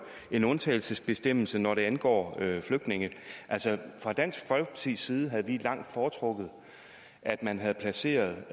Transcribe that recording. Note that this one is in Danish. en undtagelsesbestemmelse når det angår flygtninge vi havde fra dansk folkepartis side langt foretrukket at man havde placeret